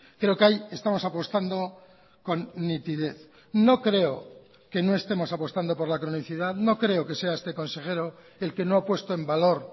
creo que ahí estamos apostando con nitidez no creo que no estemos apostando por la cronicidad no creo que sea este consejero el que no ha puesto en valor